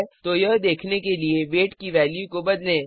तो यह देखने के लिए वेट की वैल्यू को बदलें